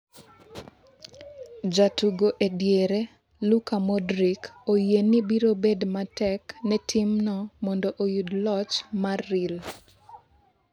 Jatugo e diere Luka Modric oyie ni biro bedo matek ne timno mondo oyud loch mar Real.